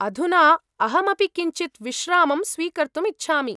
अधुना अहमपि किञ्चित् विश्रामं स्वीकर्तुम् इच्छामि।